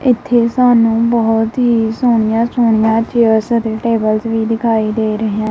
ਇੱਥੇ ਸਾਨੂੰ ਬਹੁਤ ਹੀ ਸੋਹਣੀਆਂ ਸੋਹਣੀਆਂ ਚੇਅਰਜ਼ ਅਤੇ ਟੇਬਲਸ ਵੀ ਦਿਖਾਈ ਦੇ ਰਿਹਾ।